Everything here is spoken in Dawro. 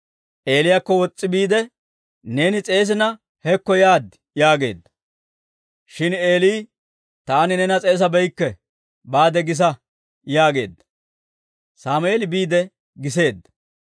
Eeliyaakko wos's'i biide, «Neeni s'eesina hekko yaad» yaageedda. Shin Eeli, «Taani neena s'eesabeykke; baade gisa» yaageedda; Sammeeli biide giseedda.